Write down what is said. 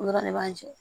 O dɔrɔn de b'an jɛ